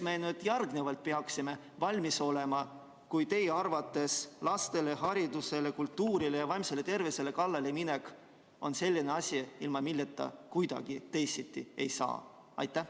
Milleks me järgnevalt peaksime valmis olema, kui teie arvates lastele, haridusele, kultuurile ja vaimsele tervisele kallaleminek on selline asi, ilma milleta kuidagi teisiti ei saa?